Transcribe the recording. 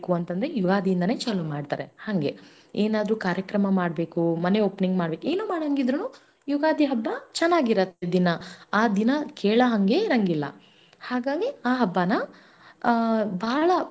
ಅಂತಂದ್ರೆ ಯುಗಾದಿಯಿಂದಾನೆ ಚಾಲು ಮಾಡ್ತಾರೆ ಹಂಗೆ ಏನಾದ್ರು ಕಾರ್ಯಕ್ರಮ ಮಾಡಬೇಕು ಮನೆ opening ಮಾಡಬೇಕು, ಏನು ಮಾಡಾಂಗಿದ್ರೂನು ಯುಗಾದಿ ಹಬ್ಬ ಚೆನ್ನಾಗಿರತ್ತೆ ದಿನಾ ಆ ದಿನಾ ಕೆಳಹಂಗೆ ಇರಂಗಿಲ್ಲಾ ಹಾಗಾಗಿ ಆ ಹಬ್ಬನ ಬಾಳಾ.